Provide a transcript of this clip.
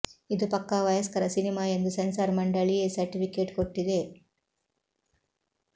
ಇದು ಪಕ್ಕಾ ವಯಸ್ಕರ ಸಿನಿಮಾ ಎಂದು ಸೆನ್ಸಾರ್ ಮಂಡಳಿ ಎ ಸರ್ಟಿಫಿಕೇಟ್ ಕೊಟ್ಟಿದೆ